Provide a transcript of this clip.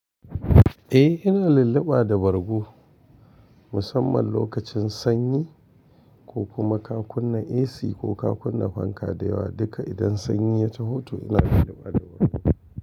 Eh, yana lulluɓa da bargo musamman lokacin sanyi ko kuma ka kunnan AC ko ka kunnan fanka da yawa duka idan sanyi ya taho to ina lulluɓa da bargo.